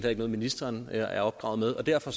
ikke noget ministeren er er opdraget med og derfor